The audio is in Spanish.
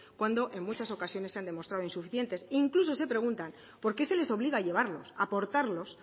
cuando en muchas ocasiones se han demostrado insuficientes incluso se preguntan por qué se les obliga a llevarlos a portarlos